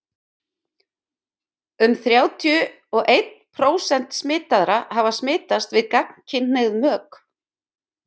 um þrjátíu og einn prósent smitaðra hafa smitast við gagnkynhneigð mök